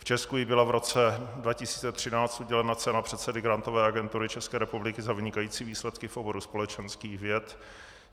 V Česku jí byla v roce 2013 udělena cena předsedy Grantové agentury České republiky za vynikající výsledky v oboru společenských věd.